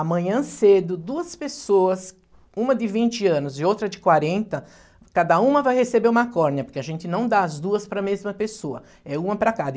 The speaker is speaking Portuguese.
Amanhã cedo, duas pessoas, uma de vinte anos e outra de quarenta, cada uma vai receber uma córnea, porque a gente não dá as duas para a mesma pessoa, é uma para cada.